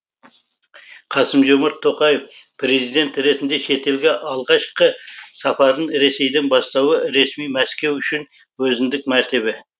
қасым жомарт тоқаев президент ретінде шетелге алғашқы сапарын ресейден бастауы ресми мәскеу үшін өзіндік мәртебе